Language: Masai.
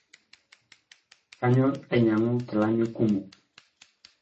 Kanyor ainyangu kilani kumo